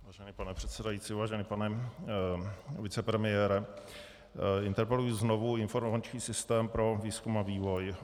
Vážený pane předsedající, vážený pane vicepremiére, interpeluji znovu informační systém pro výzkum a vývoj.